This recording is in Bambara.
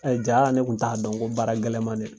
Ɛ jaa ne tun t'a dɔn ko baara gɛlɛn ma dɛ